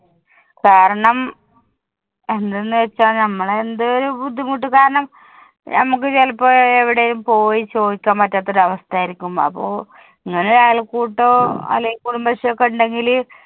കാരണം എന്തെന്ന് വെച്ചാ ഞമ്മളെന്തേലും ബുദ്ധിമുട്ട് കാരണം ഞമ്മുക്ക് ചെലപ്പോഴ് എവിടെയും പോയി ചോയ്ക്കാൻ പറ്റാത്തൊരു അവസ്ഥ ആയിരിക്കും അപ്പൊ ഇങ്ങനൊരു അയൽക്കൂട്ടോ അല്ലേൽ കുടുംബശ്രീ ഒക്കെ ഇണ്ടെങ്കില്